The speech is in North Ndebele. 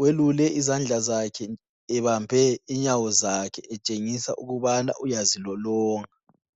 welule izandla zakhe ebambe inyawo zakhe etshengisa ukubana uyazilolonga.